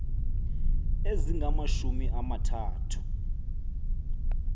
ezingamashumi ama thathu